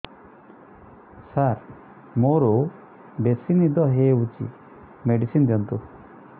ସାର ମୋରୋ ବେସି ନିଦ ହଉଚି ମେଡିସିନ ଦିଅନ୍ତୁ